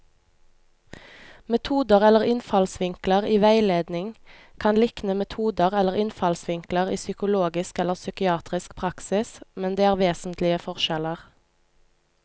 Metoder eller innfallsvinkler i veiledning kan likne metoder eller innfallsvinkler i psykologisk eller psykiatrisk praksis, men det er vesentlige forskjeller.